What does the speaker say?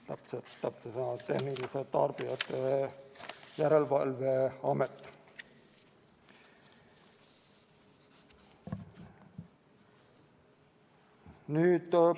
Tarbijakaitse ja Tehnilise Järelevalve Amet.